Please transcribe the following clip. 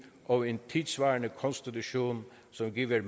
og en tidssvarende konstitution som giver